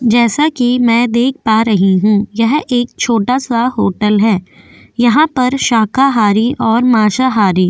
जैसा कि मैं देख पा रही हूं यह एक छोटा सा होटल है यहां पर शाखाहारी और माशाहारी --